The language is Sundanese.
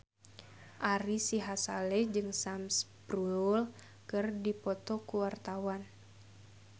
Ari Sihasale jeung Sam Spruell keur dipoto ku wartawan